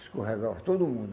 Escorregava todo mundo.